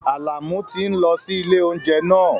Àlàmú tí ń lọ sí ilé oúnjẹ náà